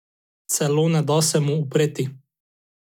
Celo ne da se mu upreti.